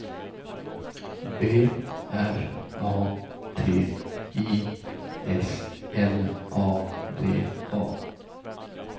B R A T I S L A V A